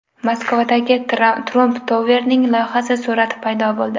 Moskvadagi Trump Tower’ning loyihasi surati paydo bo‘ldi.